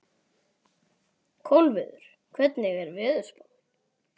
Kolviður, hvernig er veðurspáin?